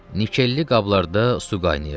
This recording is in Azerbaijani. Nikelli qablarda su qaynayırdı.